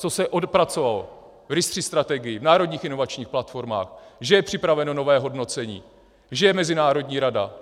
Co se odpracovalo v RIS3 strategii, v národních inovačních platformách, že je připraveno nové hodnocení, že je mezinárodní rada.